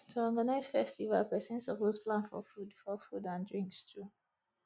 to organize festival persin suppose plan for food for food and drinks too